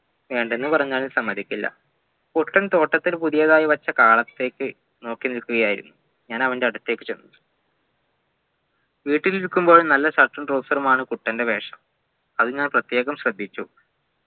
വേണ്ടന്ന് പറഞ്ഞാലും സമ്മതിക്കില്ല കുട്ടൻ തോട്ടത്തിൽ പുതിയതായി വെച്ച കാളത്തേക്ക് നോക്കിനിൽക്കുകയായിരുന്നു ഞാൻ അവൻ്റെ അടുത്തേക്ക് ചെന്നു വീട്ടിലിരിക്കുമ്പോളും നല്ല shirt ഉം trouser ഉമാണ് കുട്ടൻ്റെ വേഷം അത് ഞാൻ പ്രത്യേകം ശ്രദ്ധിച്ചു